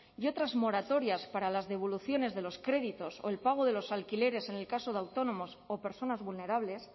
y otras moratorias para las devoluciones de los créditos o el pago de los alquileres en el caso de autónomos o personas vulnerables